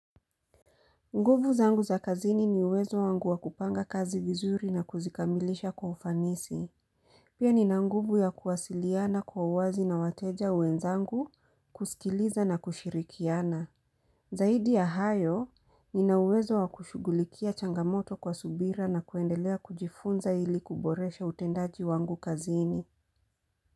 Nguvu zangu za kazini ni uwezo wangu wa kupanga kazi vizuri na kuzikamilisha kwa ufanisi. Pia ni na nguvu ya kuwasiliana kwa uwazi na wateja wenzangu kusikiliza na kushirikiana. Zaidi ya hayo, ni na uwezo wa kushugulikia changamoto kwa subira na kuendelea kujifunza ili kuboresha utendaji wangu kazini.